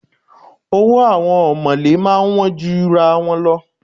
Owó àwọn ọ̀mọ̀lé máa ń wọ́n jura wọn lọ.